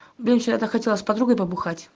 блин вчера я так хотела с подругой побухать